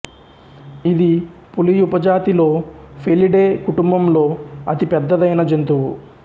ఇది పులి ఉపజాతిలో ఫెలిడే కుటుంబంలో అతి పెద్దదైన జంతువు